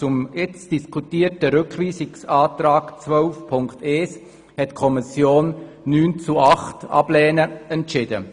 Zum jetzt diskutierten Rückweisungsantrag zu Artikel 12 Absatz 1 hat die Kommission mit 9 zu 8 Stimmen die Ablehnung entschieden.